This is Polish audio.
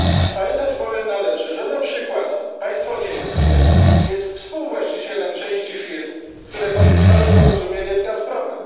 Pamiętać bowiem należy, że na przykład państwo niemieckie jest współwłaścicielem części firm, które podpisały porozumienie z Gazpromem.